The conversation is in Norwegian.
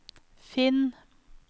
finn